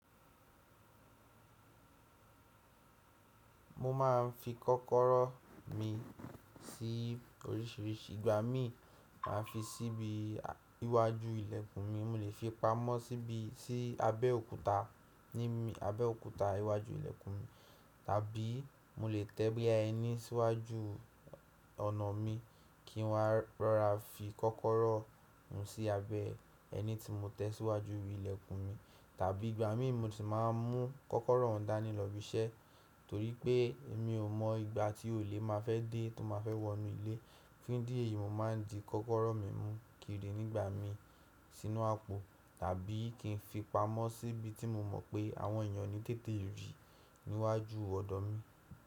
Mo máà ń fi kọ́kọ́rọ́ mi sí oríṣìíríṣìí, ìgbà mí màá fi sí ibi iwájú ìlẹ̀kùn mi, mo lè fi pamọ́ síbi, sí abẹ́ òkúta, ní abẹ́ òkúta iwájú ìlẹ̀kùn mi, tàbí mo lè tẹ́ bí i ẹní síwájú ọ̀nà mi kí n wá rọra fi kọ́kọ́rọ́ hun sí abẹ́ ẹni tí mo tẹ́ síwájú ìlẹ̀kùn mi, tàbí ìgbà mi mo sì máa ń mú kọ́kọ́rọ́ dani lọ́ bí iṣẹ́ torí pé èmi ò mọ ìgbà tí olè máa fẹ́ dé tó máa fẹ́ wọnú ilé. Fún ìdí èyí, mo máa ń di kọ́kọ́rọ́ mi mú kiri nígbà mí sínú àpò tàbí kí n fi pamọ́ síbi tí mo mọ̀ pé àwọn èèyàn ní tètè rí níwájú ọ̀dọ́ mi.